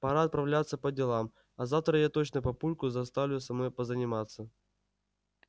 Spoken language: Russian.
пора отправляться по делам а завтра я точно папульку заставлю со мной позаниматься